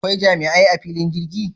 Akwai jami'ai a fillin jirgi?